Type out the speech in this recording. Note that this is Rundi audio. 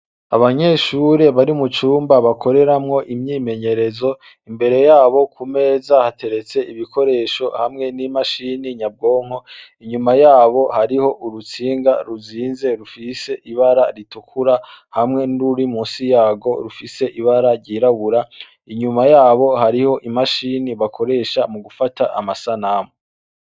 Abanyeshure bari mu cumba bakoreramwo imyimenyerezo imbere yabo ku meza hateretse ibikoresho hamwe n'imashini nyabwonko inyuma yabo hariho urutsinga ruzinze rufise ibara ritukura hamwe n'uri musi yabo rufise ibara ryirabura inyuma yabo hariho imashini bakoresha mu gufata amasanamu.